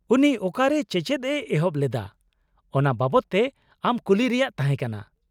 ᱩᱱᱤ ᱚᱠᱟᱨᱮ ᱪᱮᱪᱮᱫ ᱮ ᱮᱛᱚᱦᱚᱵ ᱞᱮᱫᱟ ᱚᱱᱟ ᱵᱟᱵᱚᱫ ᱛᱮ ᱟᱢ ᱠᱩᱞᱤ ᱨᱮᱭᱟᱜ ᱛᱟᱦᱮᱸ ᱠᱟᱱᱟ ᱾